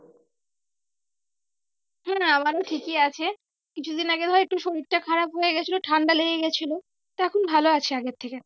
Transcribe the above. হ্যাঁ আমারও ঠিকই আছে। কিছু দিন আগে ধর একটু শরীরটা খারাপ হয়ে গিয়েছিলো ঠান্ডা লেগে গিয়েছিলো। তা এখন ভালো আছি আগের থেকে